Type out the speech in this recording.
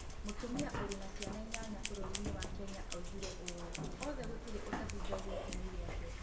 Mũtumia ũrĩ na ciana inyanya bũrũri-inĩ wa Kenya oigire ũũ: “Othe gũtirĩ ũtahingagia itemi rĩake.”